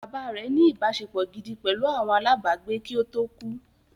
Bàbá rẹ̀ ní “ ìbáṣepọ̀ gidi pẹ̀lú àwọn alábàágbé kí ó tó kú